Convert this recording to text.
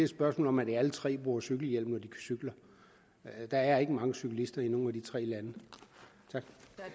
spørgsmål om at de alle tre bruger cykelhjelm når de cykler der er ikke mange cyklister i nogen af de tre lande tak